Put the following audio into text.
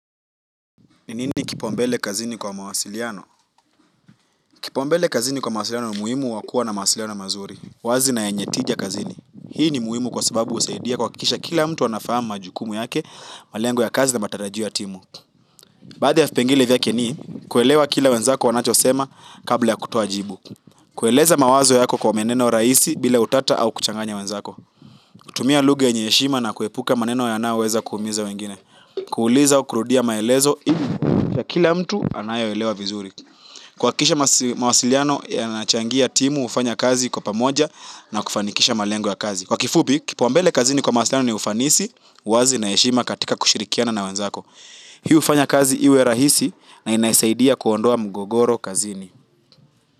Ni nini kipo mbele kazini kwa mawasiliano? Kipaumbele kazini kwa mawasiliano ni umuhimu wa kuwa na mawasiliano mazuri. Wazi na yenye tija kazini. Hii ni muhimu kwa sababu husaidia kuhakikisha kila mtu anafahamu majukumu yake, malengo ya kazi na matarajio ya timu. Baadhi ya vipengele vyake ni kuelewa kile wenzako wanachosema, kabla ya kutoa jibu. Kueleza mawazo yako kwa maneno rahisi bila utata au kuchanganya wenzako. Kutumia lugha yenye heshima na kuepuka maneno yanayo weza kuumiza wengine. Kuuliza au kurudia maelezo ili kuhakikisha kila mtu anayo elewa vizuri. Kuhakikisha mawasiliano yanachangia, timu hufanya kazi kwa pamoja na kufanikisha malengo ya kazi. Kwa kifupi, kipaumbele kazini kwa mawasiliano ni ufanisi, uwazi na heshima katika kushirikiana na wenzako. Hii hufanya kazi iwe rahisi na inasaidia kuondoa mgogoro kazini.